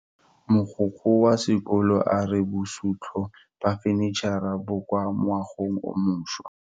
Mogokgo wa sekolo a re bosutô ba fanitšhara bo kwa moagong o mošwa.